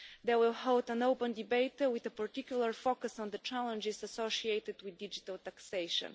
They will hold an open debate, with a particular focus on the challenges associated with digital taxation.